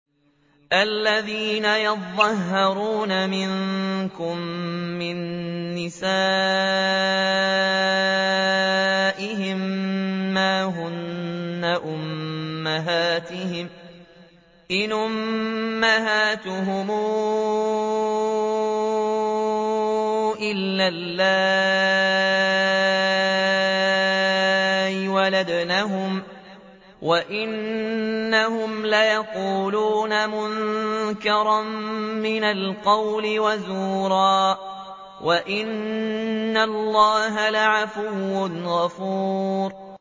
الَّذِينَ يُظَاهِرُونَ مِنكُم مِّن نِّسَائِهِم مَّا هُنَّ أُمَّهَاتِهِمْ ۖ إِنْ أُمَّهَاتُهُمْ إِلَّا اللَّائِي وَلَدْنَهُمْ ۚ وَإِنَّهُمْ لَيَقُولُونَ مُنكَرًا مِّنَ الْقَوْلِ وَزُورًا ۚ وَإِنَّ اللَّهَ لَعَفُوٌّ غَفُورٌ